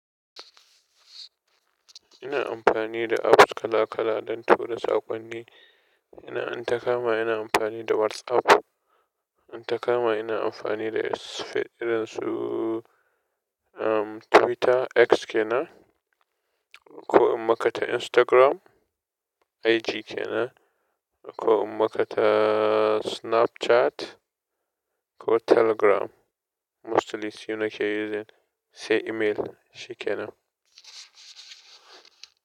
Ina amfani da apps kala kala don tura sakonni. Ina-- inta kama ina amfani da WhatsApp, inta kama ina amfani da Face--, irin su Twitter, X kenan. Ko in maka ta Instagram, IG kenan. Ko in maka ta snapchat, ko telegram Mostly su nake using, sai email shi kenan.